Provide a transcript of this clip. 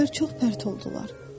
Güllər çox pərt oldular.